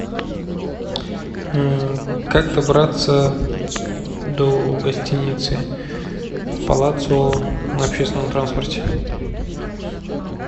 как добраться до гостиницы палацио на общественном транспорте